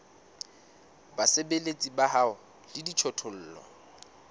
basebeletsi ba hao le dijothollo